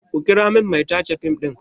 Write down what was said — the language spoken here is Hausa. Ku kira min mai tace fim ɗin!